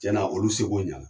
Cɛn na olu se ko ɲana.